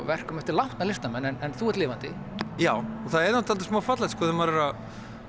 verkum eftir látna listamenn en þú ert lifandi já og það er smá fallegt þegar maður er að